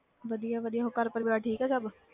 ਵਧੀਆ ਵਧੀਆ, ਹੋਰ ਘਰ ਪਰਿਵਾਰ ਠੀਕ ਹੈ ਸਭ।